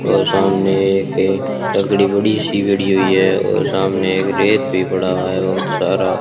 और सामने एक क लकड़ी बड़ी सी गड़ी हुई है और सामने एक रेत भी पड़ा हुआ है बहुत सारा।